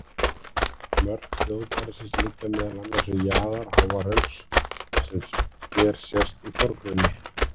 Mörk þjóðgarðsins liggja meðal annars um jaðar Háahrauns sem hér sést í forgrunni.